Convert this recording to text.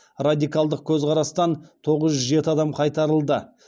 радикалдық көзқарастан тоғыз жүз жеті адам қайтарылды